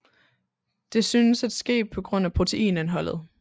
Det synes at ske på grund af proteinindholdet